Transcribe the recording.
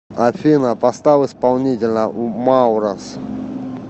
афина поставь исполнителя маврос